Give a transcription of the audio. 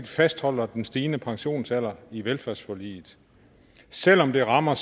fastholder den stigende pensionsalder i velfærdsforliget selv om det rammer